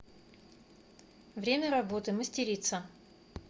время работы мастерица